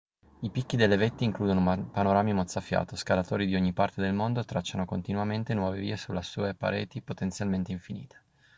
i picchi delle vette includono panorami mozzafiato scalatori di ogni parte del mondo tracciano continuamente nuove vie sulle sue pareti potenzialmente infinite